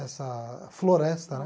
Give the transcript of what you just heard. Essa floresta, né?